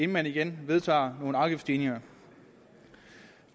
man igen vedtager nogle afgiftsstigninger